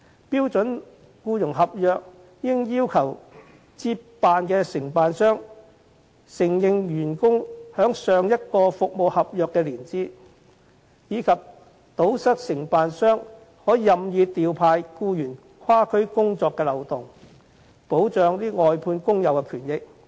標準僱傭合約應要求接辦的承辦商，必須承認員工在上一服務合約的年資，以及堵塞承辦商可以任意調派僱員跨區工作的漏洞，以保障外判工友的權益。